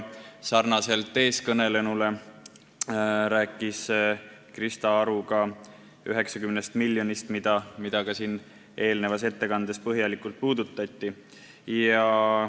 Samamoodi kui siin rääkis Krista Aru 90 miljonist, mida ka siin ettekandes põhjalikult puudutati.